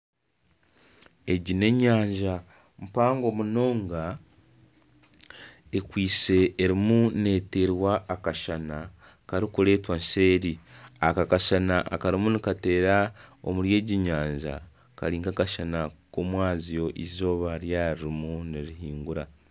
Enyanja mpaango munonga ekwaitse erimu netweerwa akashana karikureetwa nseeri akashana akarimu nikateera omuri egi nyanja Kari nkakashana komwaabazyo eizooba ryaba ririmu nirirenga